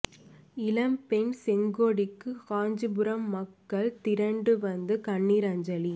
இளம் பெண் செங்கொடிக்கு காஞ்சிபுரம் மக்கள் திரண்டு வந்து கண்ணீர் அஞ்சலி